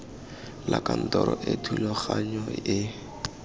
la kantoro e thulaganyo e